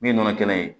Min nana kɛnɛ